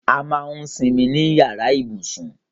A máà ń simi ní yàrá ibùsùn